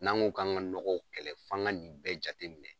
N'an ko k'an ka nɔgɔw kɛlɛ f'an ka nin bɛɛ jate minɛ.